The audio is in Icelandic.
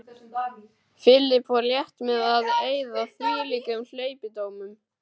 Philip fór létt með að eyða þvílíkum hleypidómum.